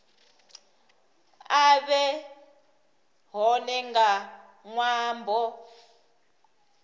a vhe hone nga ṅwambo